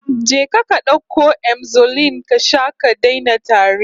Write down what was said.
Je ka ka dauko Emzolin ka sha ka daina tari